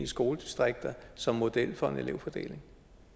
skoledistrikter som model for en elevfordeling